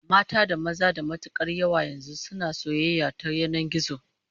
Mata da maza da matukar yawa yanzu suna soyayya ta yanan gizo